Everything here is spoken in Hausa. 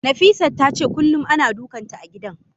Nafisat tace kullum ana dukanta a gidan.